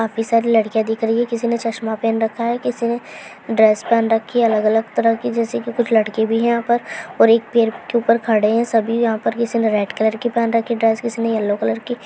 काफिसार लड़कियाँ दिख रही है किसी ने चश्मा पहन रखा है किसी ने ड्रेस पहन रखी है अलग अलग तरह की जैसे कि कुछ लड़के भी है यहाँ पर और एक पैर के ऊपर खड़े हैं सभी यहाँ पर किसी ने रेड कलर पहन रखी ड्रेस किसी ने येलो कलर की --